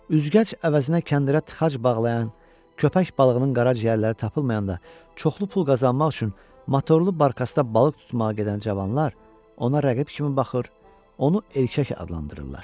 Üzgəc əvəzinə kəndirə tıxac bağlayan, köpək balığının qaraciyərləri tapılmayanda çoxlu pul qazanmaq üçün motorlu barkasda balıq tutmağa gedən cavanlar ona rəqib kimi baxır, onu erkək adlandırırlar.